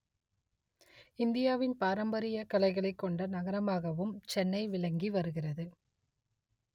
இந்தியாவின் பராம்பரிய கலைகளைக் கொண்ட நகரமாகவும் சென்னை விளங்கி வருகிறது